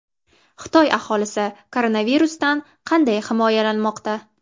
Xitoy aholisi koronavirusdan qanday himoyalanmoqda?